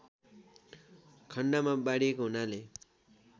खण्डमा बाँडिएको हुनाले